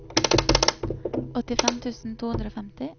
åttifem tusen to hundre og femti